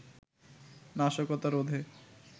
নাশকতা রোধে